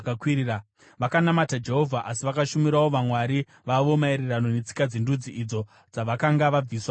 Vakanamata Jehovha, asi vakashumirawo vamwari vavo maererano netsika dzendudzi idzo dzavakanga vabviswa kwadziri.